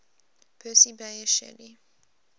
percy bysshe shelley